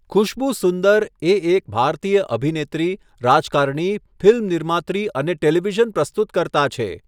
ખુશ્બુ સુંદર એ એક ભારતીય અભિનેત્રી, રાજકારણી, ફિલ્મ નિર્માત્રી અને ટેલિવિઝન પ્રસ્તુતકર્તા છે.